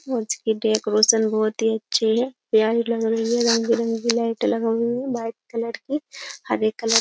और इसके डेकोरेशन बहुत ही अच्छे है प्यारी लग रही है रंगी रंगी लाइट लगा हुई है वाइट कलर की हरे कलर --